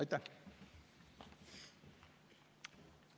Aitäh!